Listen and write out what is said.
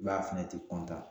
I b'a ye a fɛnɛ tɛ